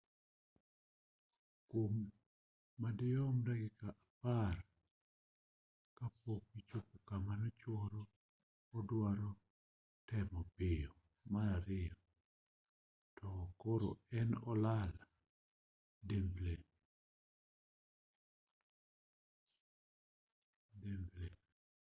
kwom madirom dakika apar ka pok nochopo kama koro oduaro temo piyo mar ariyo to koro ne olal chimbli